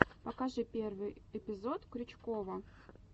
покажи первый эпизод крючкова